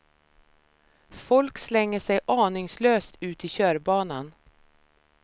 Folk slänger sig aningslöst ut i körbanan.